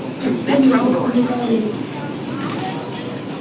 а теперь неплохо бы и пообедать